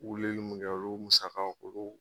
Uleli mun kɛ olu musakaw k'olu.